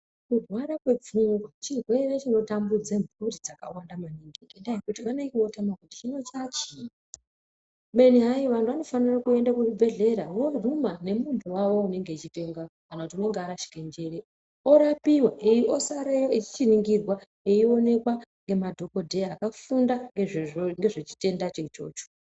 Kurwara kwepfungwa chirwere chinotambudze mhuri dzakawanda maningi ngendaa yekuti vanenge votama kuti hino chaachiinyi. Kubeni hayi anofanire kuende kuchibhehlera voguma nemuntu wawoo unonga echipenga kana kuti warashike njere orapiwa osareyo echiningirwa eionekwa nemadhokodheya akafunda ngezve chitendacho ichocho.